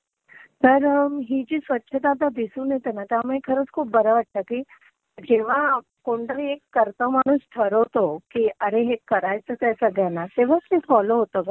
तर ही जी स्वच्छता जी दिसून येते ना त्यामुळे खरंच खूप बरं वाटतं की जेव्हा कोणीतरी एक करता माणूस ठरवतो की आरे हे करायचंच आहे सगळ्यांना, तेव्हाच ते फॉलो होतं गं.